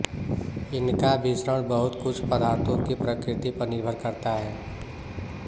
इनका विसरण बहुत कुछ पदार्थों की प्रकृति पर निर्भर करता है